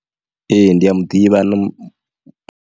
Ee ndi a muḓivha.